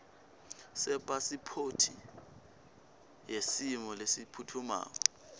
sepasiphothi yesimo lesiphutfumako